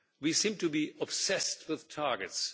We seem to be obsessed with targets.